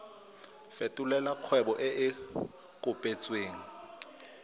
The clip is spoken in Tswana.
fetolela kgwebo e e kopetswengcc